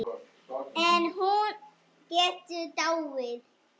En hún getur dáið